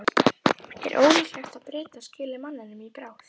Er ekki ólíklegt að Bretar skili manninum í bráð?